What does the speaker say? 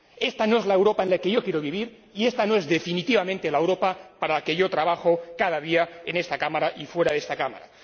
Esta no es la Europa en la que yo quiero vivir y esta no es, definitivamente, la Europa para la que yo trabajo cada día en esta Cámara y fuera de esta Cámara.